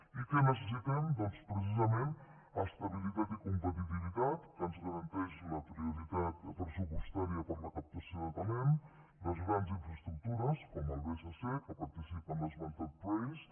i què necessitem doncs precisament estabilitat i competitivitat que ens garanteix la prioritat pressupostària per a la captació de talents les grans infraestructures com el bsp que participa en l’esmentat prace